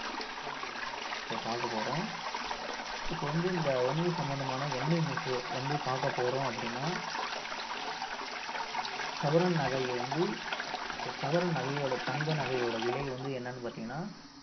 ஆஹ் செய்தியை வந்து நம்ம இப்ப பார்க்க போறோம் அஹ் இப்ப வந்து இந்த வணிக சம்பந்தமான என்ன news வந்து பார்க்க போறோம் அப்படின்னா ஆஹ் ஒரு சவரன் நகையை வந்து அஹ் ஒரு சவரன் நகையோட தங்க நகையோட விலை வந்து என்னன்னு பார்த்தீங்கன்னா